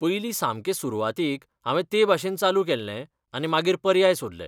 पयलीं सामके सुरवातीक हांवें तेभाशेन चालू केल्लें आनी मागीर पर्याय सोदले.